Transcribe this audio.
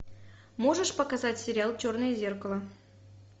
можешь показать сериал черное зеркало